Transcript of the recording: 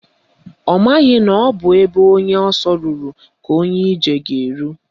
Ọ maghị na ọ bụ ebe onye ọsọ rụrụ ka onye ije ga-eru